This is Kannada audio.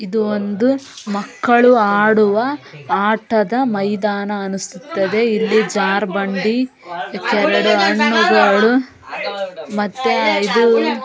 ಇದು ಒಂದು ಮಕ್ಕಳು ಆಡುವ ಆಟದ ಮೈದಾನ ಅನ್ನುಸುತ್ತದೆಇಲ್ಲಿ ಜಾರಿ ಬಂಡಿ ಇತ್ಯಎರೆಡು ಹಣ್ಣುಗಳು ಮತ್ತೆ ಇದು--